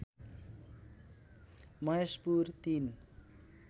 Maheshpur ३